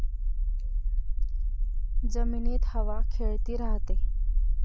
जमिनीत हवा खेळती राहते.